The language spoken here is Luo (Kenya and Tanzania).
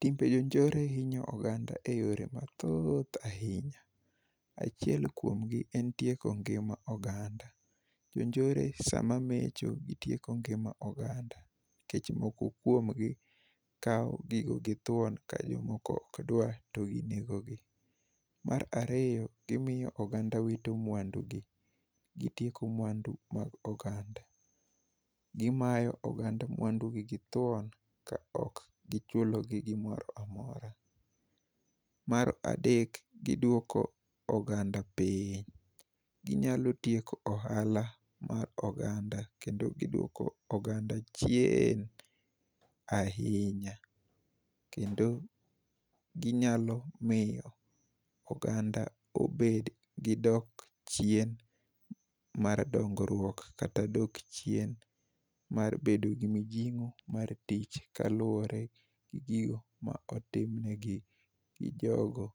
Timbe jonjore hinyo oganda e yore mathooth ahinya. Achiel kuomgi en tieko ngima oganda. Jonjore sama mecho, gitieko ngima oganda. Nikech moko kuomgi kawo gigo gi thuon ka jomoko okdwar, to inegogi. Mar ariyo, gimiyo oganda wito mwandugi. Gitieko mwandu mag oganda. Gimayo oganda mwandugi githuon, ka ok gichulo gi gimoro amora. Mar adek, gidwoko oganda piny. Ginyalo tieko ohala mar oganda, kendo giduoko oganda chien ahinya. Kendo ginyalo miyo oganda obed gi dok chien mar dongruok kata dok chien mar bedo gi mijingó mar tich, kaluwore gi gigo ma otimnegi gi jogo